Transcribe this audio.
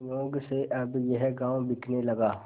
संयोग से अब यह गॉँव बिकने लगा